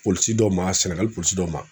Polisi dɔ ma Sɛnɛgali polisi dɔ ma